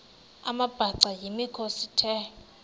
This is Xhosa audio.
amabhaca yimikhosi the